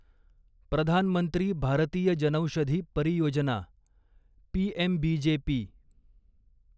Pradhan Mantri Bharatiya Janaushadhi Pariyojana PMBJP